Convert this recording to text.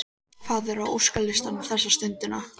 Hvað er á óskalistanum þessa stundina?